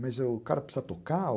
Mas o cara precisa tocar?